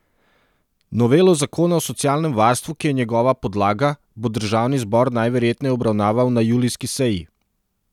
Novelo zakona o socialnem varstvu, ki je njegova podlaga, bo državni zbor najverjetneje obravnaval na julijski seji.